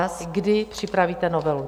A kdy připravíte novelu?